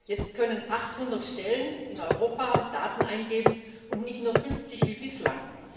Jetzt können 800 Stellen in Europa Daten eingeben, und nicht nur 50 wie bislang.